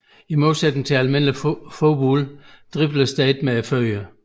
I modsætning til almindelig fodbold dribles der ikke med fødderne